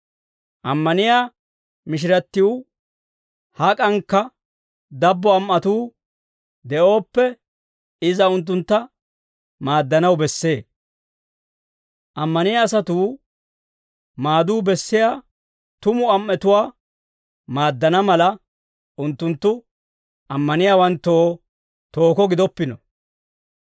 Ammaniyaa mishirattiw hak'ankka dabbo am"atuu de'ooppe, iza unttuntta maaddanaw bessee. Ammaniyaa asatuu maaduu bessiyaa tumu am"etuwaa maaddana mala, unttunttu ammaniyaawanttoo tooko gidoppino.